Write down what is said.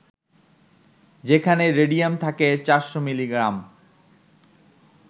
যেখানে রেডিয়াম থাকে ৪০০ মিলিগ্রাম